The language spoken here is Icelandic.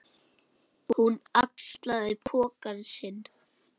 Hún axlaði poka sinn.